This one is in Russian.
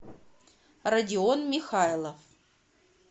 родион михайлов